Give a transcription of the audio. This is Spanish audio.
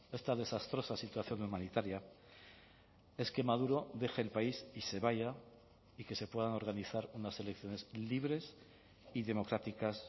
esta desastrosa situación humanitaria es que maduro deje el país y se vaya y que se puedan organizar unas elecciones libres y democráticas